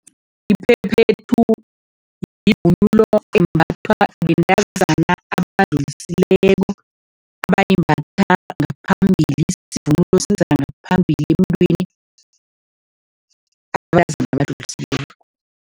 Iphephethu yivunulo embathwa bentazana abadlulisileko, abayimbatha ngaphambili, ngaphambili emntwini, abentazana